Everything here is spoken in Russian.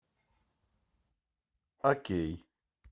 окей